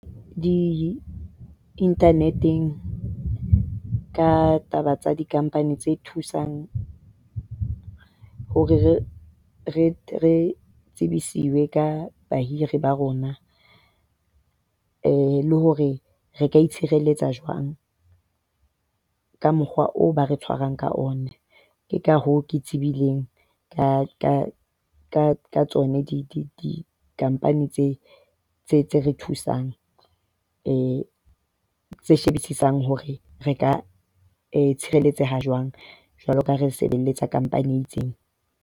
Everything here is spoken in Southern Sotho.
Di-internet-eng ka taba tsa di-company tse thusang hore re tsebisiwe ka bahiri ba rona, eh le hore re ka itshireletsa jwang ka mokgwa oo ba re tshwarwang ka ona. Ke ka hoo, ke tsebileng ka tsona di-company tseo tse re thusang tse shebisisang hore re ka itshireletsa jwang jwalo ka re sebeletsa company e itseng.